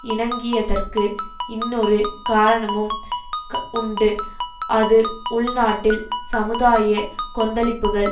இணங்கியதற்கு இன்னொரு காரணமும் உண்டு அது உள்நாட்டில் சமுதாய கொந்தளிப்புகள்